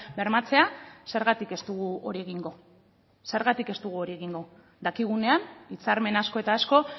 bermatzea zergatik ez dugu hori egingo zergatik ez dugu hori egingo dakigunean hitzarmen asko eta asko